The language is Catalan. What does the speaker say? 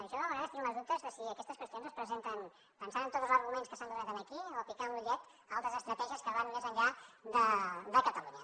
jo de vegades tinc els dubtes de si aquestes qüestions es presenten pensant en tots els arguments que s’han donat aquí o picant l’ullet a altres estratègies que van més enllà de catalunya